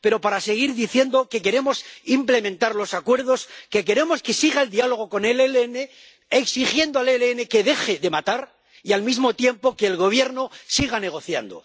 pero para seguir diciendo que queremos implementar los acuerdos, que queremos que siga el diálogo con el ELN, exigiendo al ELN que deje de matar y, al mismo tiempo, que el Gobierno siga negociando.